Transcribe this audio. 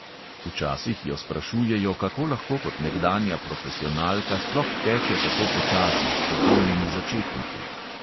Včasih jo sprašujejo, kako lahko kot nekdanja profesionalka sploh teče tako počasi, s popolnimi začetniki.